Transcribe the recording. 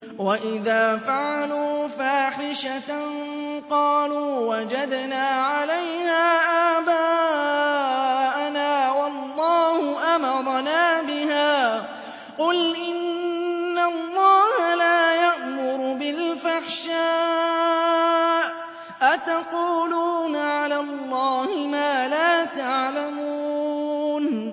وَإِذَا فَعَلُوا فَاحِشَةً قَالُوا وَجَدْنَا عَلَيْهَا آبَاءَنَا وَاللَّهُ أَمَرَنَا بِهَا ۗ قُلْ إِنَّ اللَّهَ لَا يَأْمُرُ بِالْفَحْشَاءِ ۖ أَتَقُولُونَ عَلَى اللَّهِ مَا لَا تَعْلَمُونَ